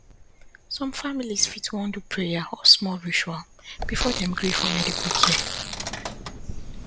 some families fit wan do prayer or small ritual before dem gree for medical care